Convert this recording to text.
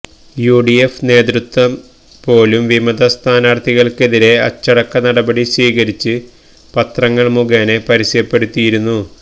U D F നേത്യത്വം പോലും വിമത സ്ഥാനാർത്ഥികൾക്കെതിരെ അച്ചടക്ക നടപടി സ്വീകരിച്ച് പത്രങ്ങൾ മുഖേന പരസ്യപ്പെടുത്തിയിരുന്നു